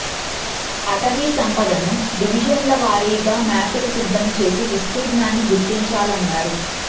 అటవీ సంపదను డివిజన్ల వారీగా మ్యాపులు సిద్ధం చేసి విస్తీర్ణాన్ని గుర్తించాలన్నారు